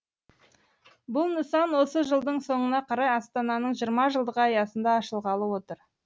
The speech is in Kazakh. бұл нысан осы жылдың соңына қарай астананың жиырма жылдығы аясында ашылғалы отыр